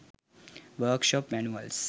work shop manuals